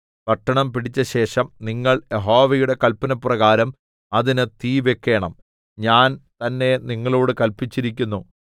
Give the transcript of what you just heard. പട്ടണം പിടിച്ചശേഷം നിങ്ങൾ യഹോവയുടെ കല്പനപ്രകാരം അതിന് തീ വെക്കേണം ഞാൻ തന്നെ നിങ്ങളോട് കല്പിച്ചിരിക്കുന്നു